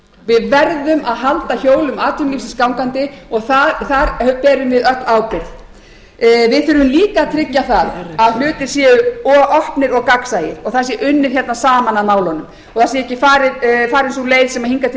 við verðum að halda hjólum atvinnulífsins gangandi og þar berum við öll ábyrgð við þurfum líka að tryggja það að hlutir séu opnir og gagnsæir og það sé unnið saman að málunum og það sé ekki farin sú leið sem hingað til hefur verið farin